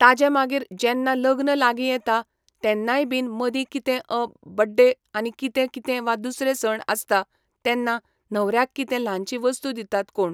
ताजे मागीर जेन्ना लग्न लागी येता तेन्नाय बीन मदी कितें अ बड्डे आनी कितें कितें वा दुसरे सण आसता तेन्ना न्हवऱ्याक कितें ल्हानशी वस्तू दितात कोण